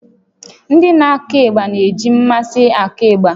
Ndị na-akụ ịgba na-eji mmasị akụ ịgbà